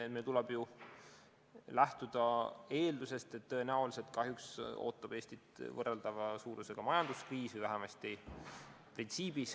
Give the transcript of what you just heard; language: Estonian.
No meil tuleb ju lähtuda eeldusest, et tõenäoliselt ootab Eestit kahjuks ees võrreldava suurusega majanduskriis.